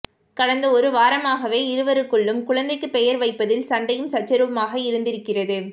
கடந்த ஒரு வாரமாகவே இருவருக்குள்ளும் குழந்தைக்கு பெயர் வைப்பதில் சண்டையும் சச்சரவுமாகவே இருந்திருக்கிறது